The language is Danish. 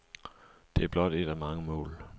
Det er blot et af mange mål.